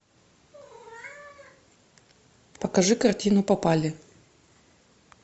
покажи картину попали